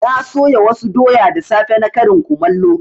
Na soya wasu doya da safe na karin kumallo.